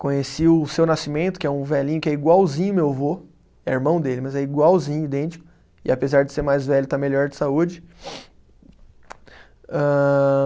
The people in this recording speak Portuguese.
conheci o seu nascimento, que é um velhinho que é igualzinho meu vô, é irmão dele, mas é igualzinho, idêntico, e apesar de ser mais velho, está melhor de saúde.